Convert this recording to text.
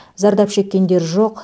зардап шеккендер жоқ